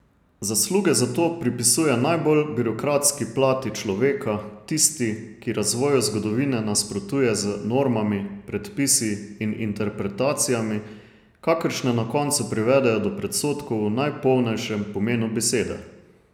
Zasluge za to pripisuje najbolj birokratski plati človeka, tisti, ki razvoju zgodovine nasprotuje z normami, predpisi in interpretacijami, kakršne na koncu privedejo do predsodkov v najpolnejšem pomenu besede.